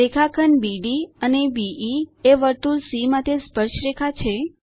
રેખાખંડ બીડી અને બે એ વર્તુળ સી માટે સ્પર્શરેખા છે